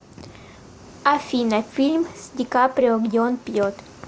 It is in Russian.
афина фильм с дикаприо где он пьет